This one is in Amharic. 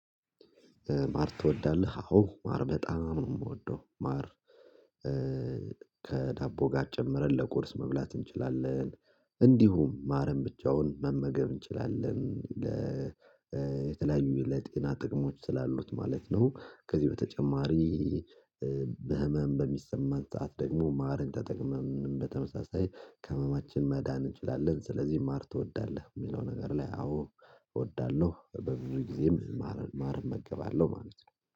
ማር ትወዳለህ አዎ ማር በጣም ነው የምወደው ማር ከዳቦ ጋር ጨምረን ለቁርስ መብላት እንችላለን። እንዲሁም ማረም ብቻውን መመገብ እንችላለን። ለ የተለያዩ ለጤና ጥቅሞች ስላሉት ማለት ነው። ከዚህ በተጨማሪ ህመም በሚሰማን ሰዓት ደግሞ ማርን ተጠቅመን በተመሳሳይ ከህመማችን መዳን እንችላለን። ስለዚህ ማር ትወዳለህ? የሚለው ነገር ላይ አዎ እወዳለሁ በብዙ ጊዜም ማር ማር እመገባለሁ ማለት ነው